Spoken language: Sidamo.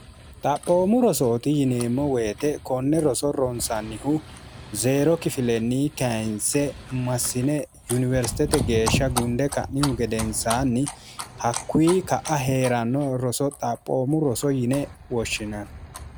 xaphoomu rosooti yineemmo woyite konne roso ronsannihu zeero kifilenni kainse massine yuniwersitete geeshsha gunde ka'nihu gedensaanni hakkuyi ka'a hee'ranno roso xaphoomu roso yine woshshinanni